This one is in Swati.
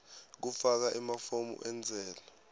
kufaka emafomu entsela